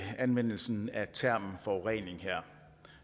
anvendelsen af termen forurening her